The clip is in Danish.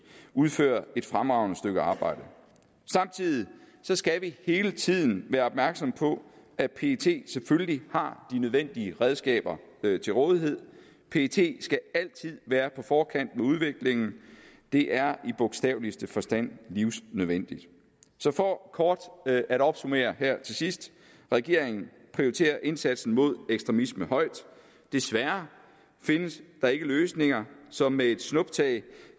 udfører et fremragende stykke arbejde samtidig skal vi hele tiden være opmærksomme på at pet selvfølgelig har de nødvendige redskaber til rådighed pet skal altid være på forkant med udviklingen det er i bogstaveligste forstand livsnødvendigt for kort at at opsummere her til sidst regeringen prioriterer indsatsen mod ekstremisme højt desværre findes der ikke løsninger som med et snuptag